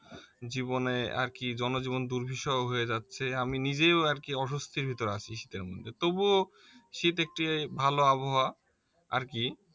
জীবনে আর কি জনজীবন দুর্বিষহ হয়ে যাচ্ছে আমি নিজেও আর কি অস্বস্তির ভেতরে আছি শীতের মধ্যে তবুও শীত একটি ভালো আবহাওয়া আর কি